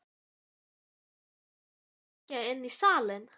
Ætlarðu ekki að kíkja inn í salinn?